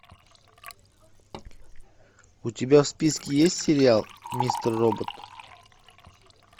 у тебя в списке есть сериал мистер робот